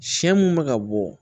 Sɛ mun bɛ ka bɔ